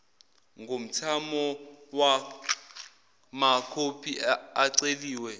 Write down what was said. ngomthamo wamakhophi aceliwe